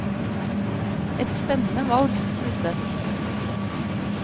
Et spennende valg, sies det.